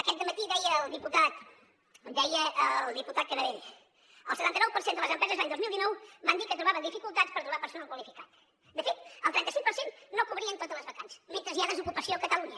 aquest dematí deia el diputat canadell el setanta nou per cent de les empreses l’any dos mil dinou van dir que trobaven dificultats per trobar personal qua·lificat de fet el trenta·cinc per cent no cobrien totes les vacants mentre hi ha des·ocupació a catalunya